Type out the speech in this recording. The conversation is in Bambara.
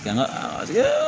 Jango a paseke